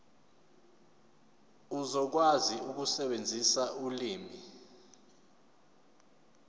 uzokwazi ukusebenzisa ulimi